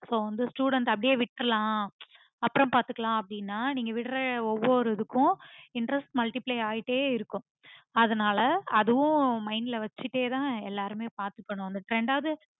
so students வந்து அப்புடியே விட்ரலாம் ஆஹ் அப்புறம் பாத்துக்கலாம் அப்புடின்னு நீங்க விற்ற ஒவ்வொரு இதுக்கும் interest multiply ஆகிட்டே இருக்கும் அதுனால அதுவும் mind ல வெச்சிட்டதா எல்லாருமே பாத்துக்கணும் ரெண்டாவது